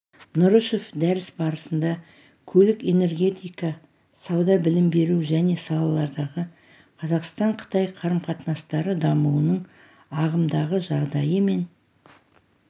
нұрышев дәріс барысында көлік энергетика сауда білім беру және салалардағы қазақстан-қытай қарым-қатынастары дамуының ағымдағы жағдайы мен